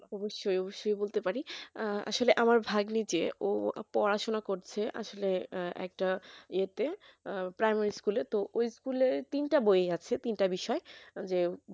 অবশ্যই অবশ্যই বলতে পারি আসলে আমার ভাগ্নি যে পড়াশোনা করছে আসলে একটা এতে primary school তো ওই school র তিনটা বই আছে তিনটা বিষয় যে